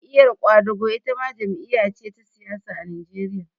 Jam'iyar ƙwadago itama jam'iya ce ta siyasa a Najeriya